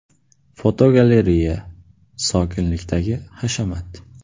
Fotogalereya: Sokinlikdagi hashamat.